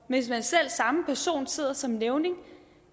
hvis selv samme person sidder som nævning